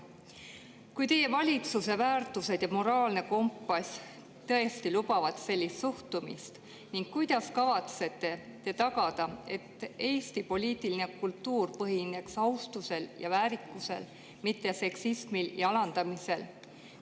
Kui teie valitsuse väärtused ja moraalne kompass tõesti lubavad sellist suhtumist, kuidas te siis kavatsete tagada, et Eesti poliitiline kultuur põhineb austusel ja väärikusel, mitte seksismil ja alandamisel?